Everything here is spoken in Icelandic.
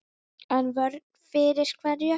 En vörn fyrir hverju?